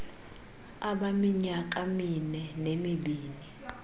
abaminyaka mine nemibini